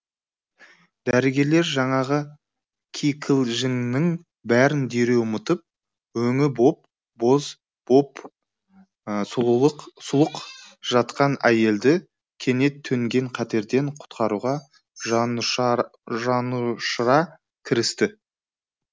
дәрігерлер жаңағы кикілжіңнің бәрін дереу ұмытып өңі боп боз боп сұлық жатқан әйелді кенет төнген қатерден құтқаруға жанұшыра кірісті